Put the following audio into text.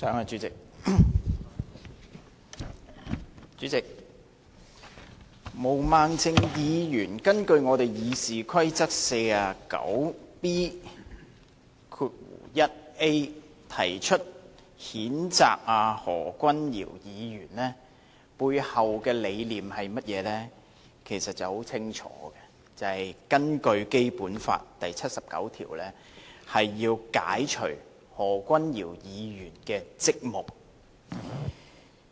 主席，毛孟靜議員根據《議事規則》第 49B 條動議譴責何君堯議員的議案，背後的理念是甚麼，其實很清楚，就是根據《基本法》第七十九條，要解除何君堯議員的職務。